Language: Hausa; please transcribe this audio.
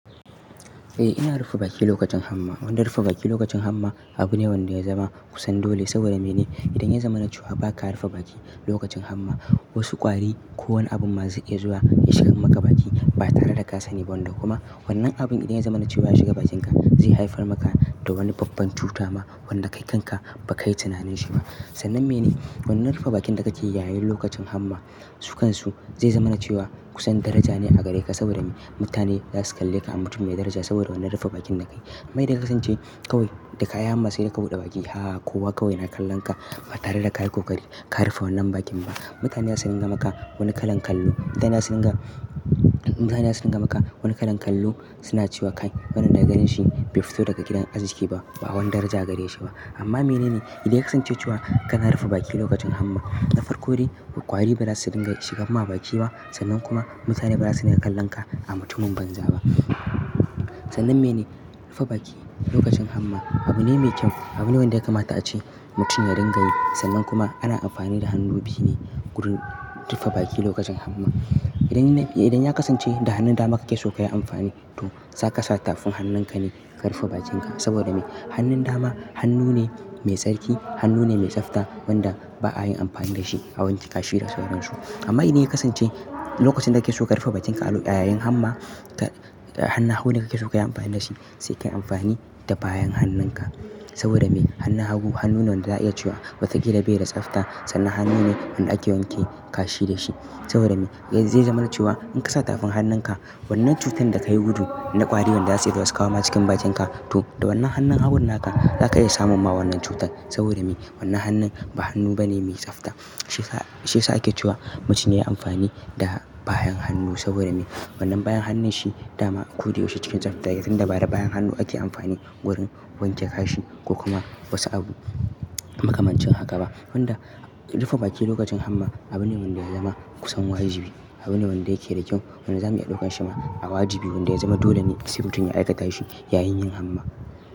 Eh ina rufe baki lokacin hamma. Wanda rufe baki lokacin hamma abu ne wanda ya zama kusan dole saboda mene? Idan ya zama na cewa ba ka rufe baki lokacin hamma, wasu ƙwari ko wani abun ma ze iya zuwa ya shigan maka baki ba tare da ka sani ba wanda kuma wannan abun idan ya zama na cewa ya shiga bakinka zai haifar maka da wani babban cuta ma wanda kai kan ka ba ka yi tunanin shi ba. Sannan mene wannan rufa bakin da kake yi yayin lokacin hamma sukansu zai zama na cewa kusan daraja ne a gare ka saboda mutane za su kalle ka a mutum mai daraja saboda wannan rufa bakin da ka yi. Kuma idan ya kasance kawai da kayi hamma sai ka buɗe baki, haa kowa kawai na kallon ka ba tare da ka yi ƙoƙari ka rufe wannan bakin ba. Mutane za su dinga maka wani kalan kallo. Mutane za su dinga, mutane za su dinga maka wani kalan kallo suna cewa kai wannan da ganin shi bai fito daga gidan arziki ba, ba wani daraja gare shi ba. Amma mene ne? Idan ya kasance cewa kana rufe baki lokacin hamma, na farko dai, ƙwari ba za su dinga shigan ma baki ba sannan kuma mutane ba za su riga kallo ka a mutumin banza ba. Sannan miye ne? Rufe baki lokacin hamma abu ne me kyau abu ne wanda ya kamata ace mutum ya dinga yi. Sannan kuma ana amfani da hannu biyu ne wurin rufe baki lokacin hamma. Idan, idan ya kasance da hannun dama kake so ka yi amfani to, zaka sa tafin hannun ka ne ka rufe bakin ka saboda me? Hannun dama hannu ne mai tsarki, hannu ne mai tsafta wanda ba a yin amfani da shi awanke kashi da sauransu. Amma idan ya kasance lokacin da kake so ka rufe bakin ka a yayin hamma, ta, hana hagu ne kake so ka yi amfani da shi sai ka yi amfani da bayan hannun ka. Saboda me? Hannun hagu hannu ne wanda za a iya cewa watakila bai da tsafta sannan hannu ne wanda ake wanke kashi da shi. Saboda me? Zai zama na cewa in ka kasa tafin hannun ka, wannan cutan da ka yi gudu na ƙwari wanda za su iya zuwa sukawo ma cikin bakin ka to, da wannan hannun hagun naka za ka iya samun ma wannan cutan. Saboda me? Wannan hannun ba hannu bane mai tsafta. Shi sa, shi sa ake cewa mutum ya yi amfani da bayan hannu saboda me? Wannan bayan hannun shi dama koda yaushe cikin tsafta yayin tunda ba da bayan hannu ake amfani wurin wanke kashi ko kuma wasu abu makamancin haka ba. Wanda rufe baki lokacin hamma abu ne wanda ya zama kusan wajibi. Abu ne wanda yake da kyau wanda zamu iya ɗaukan shi ma a wajibi wanda ya zama dole ne se mutun ya aikatashi yayin yin hamma.